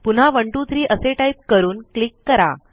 पुन्हा 123 असे टाईप करून क्लिक करा